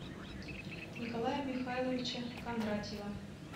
николая михайловича кондратьева